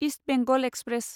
east Bengal express